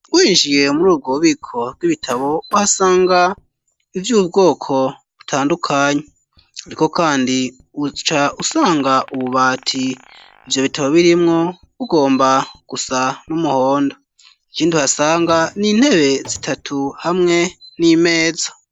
Winjiye, muri ubwo bubiko, bw'ibitabo, uhasanga, ivy'ubwoko butandukanye; ariko kandi, uca usanga ububati, ivyo bitabo birimwo, bugomba gusa, n'umuhondo; ikindi uhasanga, ni intebe zitatu, hamwe n'imeza.